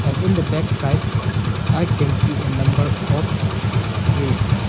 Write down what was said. An in the backside I can see a number of trees.